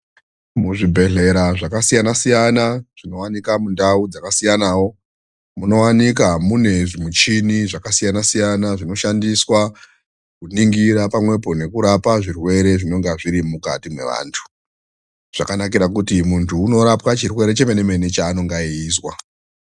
Muzvibhehlera zvakasiyana-siyana zvinowanika mundau dzakasiyanawo munowanika mune zvimuchini zvakasiyana-siyana zvinoshandiswa kuningira pamwepo nekurapa zvirwere zvinenge zvirimukati mevantu. Zvakanakira kuti munthu unorapwa chirwere chemene mene chaanonga eizwa.